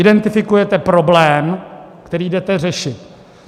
Identifikujete problém, který jdete řešit.